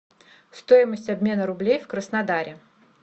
стоимость обмена рублей в краснодаре